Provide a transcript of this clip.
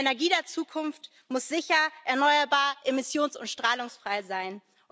Die Energie der Zukunft muss sicher, erneuerbar, emissions und strahlungsfrei sein.